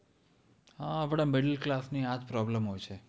હા આપણાં middle class ની આ જ problem હોય છે.